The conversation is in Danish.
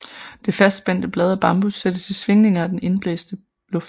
Det fastspændte blad af bambus sættes i svingninger af den indbæste luft